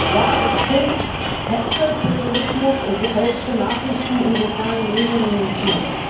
Ja, es stimmt Hetze, Populismus und gefälschte Nachrichten in sozialen Medien nehmen zu.